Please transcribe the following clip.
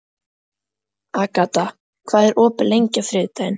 Agata, hvað er opið lengi á þriðjudaginn?